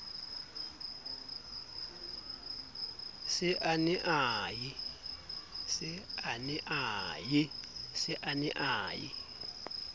se a ne a ye